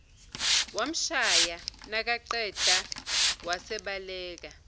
wamshaya nakaqeda wasebaleka